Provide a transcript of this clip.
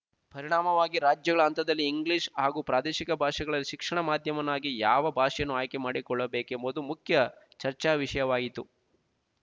ಪರಿಣಾಮವಾಗಿ ರಾಜ್ಯಗಳ ಹಂತದಲ್ಲಿ ಇಂಗ್ಲೀಷ್ ಹಾಗೂ ಪ್ರಾದೇಶಿಕ ಭಾಷೆಗಳಲ್ಲಿ ಶಿಕ್ಷಣ ಮಾಧ್ಯವನ್ನಾಗಿ ಯಾವ ಭಾಷೆಯನ್ನು ಆಯ್ಕೆ ಮಾಡಿಕೊಳ್ಳಬೇಕೆಂಬುದು ಮುಖ್ಯ ಚರ್ಚಾವಿಷಯವಾಯಿತು